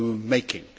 making.